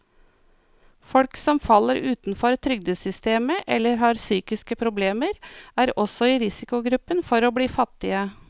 Folk som faller utenfor trygdesystemet eller har psykiske problemer, er også i risikogruppen for å bli fattige.